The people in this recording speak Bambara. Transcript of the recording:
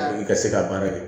I ka se ka baara kɛ